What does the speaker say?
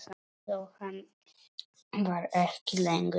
Jóhann var ekki lengur reiður.